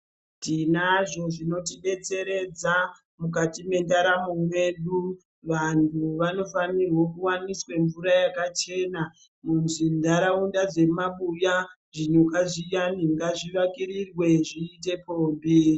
Tinazvo zvinoti detseredza mukati me ndaramo mweedu vantu vanofanirwe kuwaneswa mvura yakachena mu dzi nharaunda dze mabuya zvinhu ngazvi wakirirwe zviite pombi.